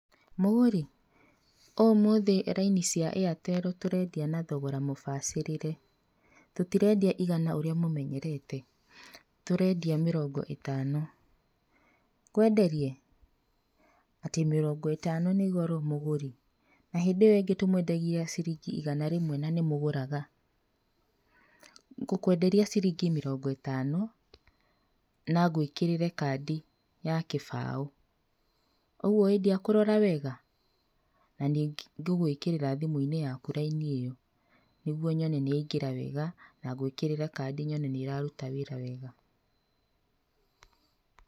Mũgũri, ũmũthĩ raini cĩa Airtel tũrendia na thogora mũbacirĩre, tũtirendia igana ũrĩa mũmenyerete, tũrendia mĩrongo ĩtano, ngwenderie? Atĩ mĩrongo ĩtano nĩ goro mũgũri? Na hĩndĩ ĩyo ĩngĩ tũmwendagĩria ciringi igana rĩmwe na nĩ mũgũraga. Ngũkũenderia ciringi mĩrongo ĩtano, na ngwĩkĩrĩre kandi ya kĩbaũ. Ũguo ĩ ndiakũrora wega? Na nĩ ngũgwĩkĩrĩra thimũ-inĩ yake raini ĩyo nĩguo nyone nĩ yaingĩra wega na ngwĩkĩrĩre kandi nyone nĩ ĩraruta wĩra wega.